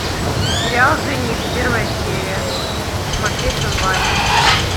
сериал жених первая серия смотреть онлайн